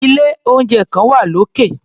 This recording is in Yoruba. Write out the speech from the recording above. Ilé-oúnjẹ kan wà lókè.